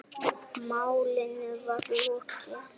Málinu var lokið.